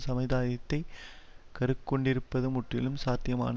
சமுதாயத்தைக் கருக்கொண்டிருப்பது முற்றிலும் சாத்தியமான